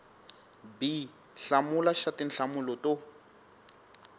b hlamula xa tinhlamulo to